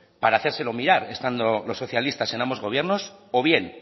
para hacérselo mirar estando los socialistas en ambos gobiernos o bien